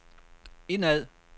indad